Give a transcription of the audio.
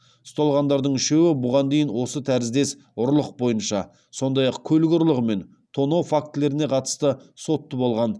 ұсталғандардың үшеуі бұған дейін осы тәріздес ұрлық бойынша сондай ақ көлік ұрлығы мен тонау фактілеріне қатысты сотты болған